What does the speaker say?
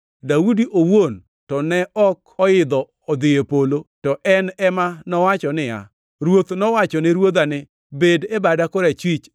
Daudi owuon to ne ok oidho odhi e polo, to en ema nowacho niya, “ ‘Ruoth nowachone Ruodha ni, “Bed e bada korachwich,